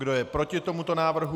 Kdo je proti tomuto návrhu?